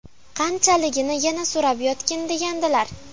Qanchaligini yana so‘rab yotgin degandilar.